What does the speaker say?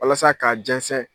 Walasa k'a jɛnsɛn.